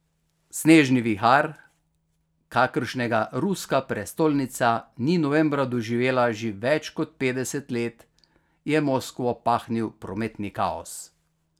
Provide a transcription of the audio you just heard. Snežni vihar, kakršnega ruska prestolnica ni novembra doživela že več kot petdeset let, je Moskvo pahnil v prometni kaos.